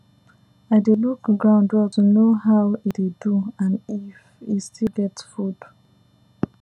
i dey look ground well to know how e dey do and if e still get food